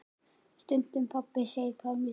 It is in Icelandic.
Stundum pabbi segir Pálmi Snær.